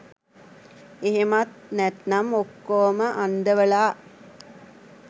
එහෙමත් නැත්නම් ඔක්කොවම අන්දවලා